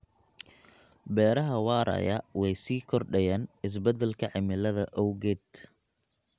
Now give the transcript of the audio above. Beeraha waaraya way sii kordhayaan isbedelka cimilada awgeed.